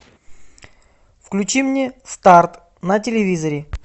включи мне старт на телевизоре